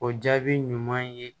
O jaabi ɲuman ye